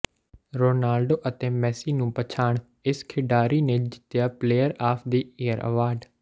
Ronaldo ਅਤੇ Messi ਨੂੰ ਪਛਾੜ ਇਸ ਖਿਡਾਰੀ ਨੇ ਜਿੱਤਿਆ player of the year award